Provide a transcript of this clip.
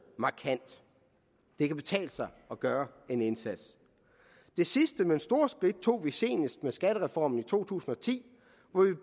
markant det kan betale sig gøre en indsats det sidste men store skridt tog vi senest med skattereformen i to tusind og ti